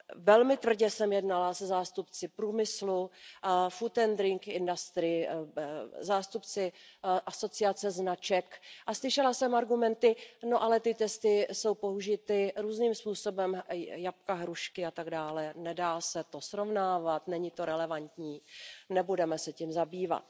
Velmi tvrdě jsem jednala se zástupci průmyslu, food and drink industry zástupci asociace značek a slyšela jsem argumenty No ale ty testy jsou použity různým způsobem, jablka, hrušky a tak dále, nedá se to srovnávat, není to relevantní, nebudeme se tím zabývat.